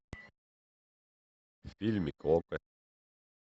фильмик окко